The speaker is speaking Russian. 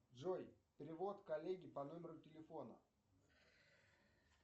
джой перевод коллеге по номеру телефона